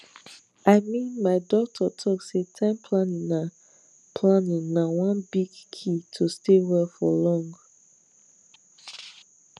i mean my doctor talk say time planning na planning na one big key to stay well for long